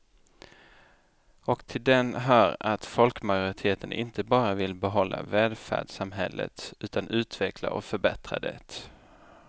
Och till den hör att folkmajoriteten inte bara vill behålla välfärdssamhället utan utveckla och förbättra det.